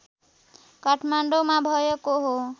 काठमाडौँमा भएको हो